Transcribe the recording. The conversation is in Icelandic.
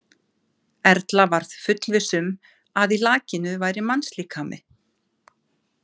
Erla varð fullviss um að í lakinu væri mannslíkami.